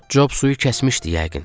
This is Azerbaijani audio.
Job suyu kəsmişdi yəqin.